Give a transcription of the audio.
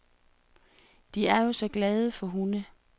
De er jo så glade for hunde.